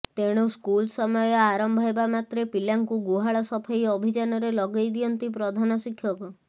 ତେଣୁ ସ୍କୁଲ ସମୟ ଆରମ୍ଭ ହେବା ମାତ୍ରେ ପିଲାଙ୍କୁ ଗୁହାଳ ସଫେଇ ଅଭିଯାନରେ ଲଗେଇ ଦିଅନ୍ତି ପ୍ରଧାନ ଶିକ୍ଷକ